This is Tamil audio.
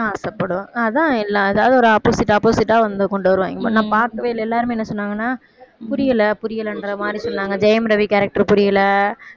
ஆசைப்படுவா அதான் எல்லாம் அதாவது ஒரு opposite opposite ஆ வந்து கொண்டு வருவாங்க, இப்ப நான் பார்க்கவே இல்லை, எல்லாருமே என்ன சொன்னாங்கன்னா புரியலை புரியலைன்ற மாதிரி சொன்னாங்க ஜெயம் ரவி character புரியலை